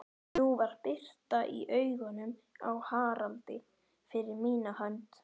Nú var birta í augunum á Haraldi, fyrir mína hönd.